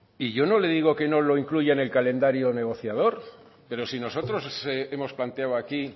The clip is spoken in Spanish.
y yo no le digo que no lo incluya en el calendario negociador pero si nosotros hemos planteado aquí